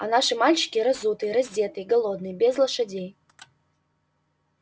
а наши мальчики разутые раздетые голодные без лошадей